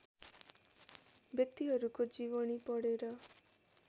व्यक्तिहरुको जीवनी पढेर